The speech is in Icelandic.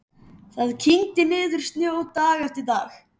Það kyngdi niður snjó dag eftir dag.